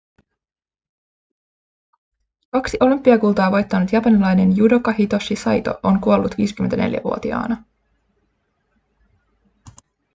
kaksi olympiakultaa voittanut japanilainen judoka hitoshi saito on kuollut 54-vuotiaana